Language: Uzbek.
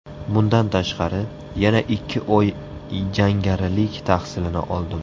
Bundan tashqari, yana ikki oy jangarilik tahsilini oldim.